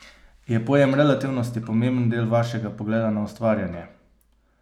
Je pojem relativnosti pomemben del vašega pogleda na ustvarjanje?